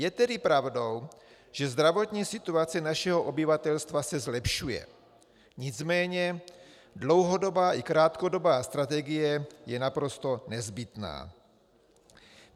Je tedy pravdou, že zdravotní situace našeho obyvatelstva se zlepšuje, nicméně dlouhodobá i krátkodobá strategie je naprosto nezbytná.